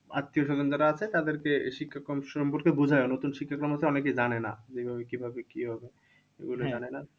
আত্মীয়স্বজন যারা আছে তাদেরকে এই শিক্ষাক্রম সম্পর্কে বোঝানো। নতুন শিক্ষাক্রম হচ্ছে অনেকে জানে না। কিভাবে কি হবে? এগুলো জানে না।